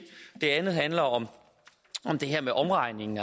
det andet handler om det her med omregningen